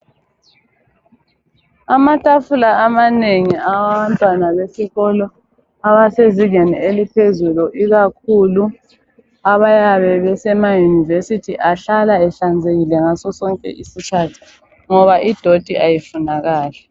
Amatafula amanengi awabantwana besikolo abasezingeni eliphezulu ikakhulu abayabe besemayunivesithi, ahlala ehlanzekile ngaso sonke isikhathi ngoba idoti ayifunakali.